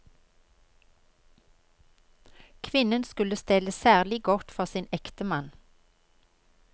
Kvinnen skulle stelle særlig godt for sin ektemann.